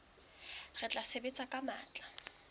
re tla sebetsa ka matla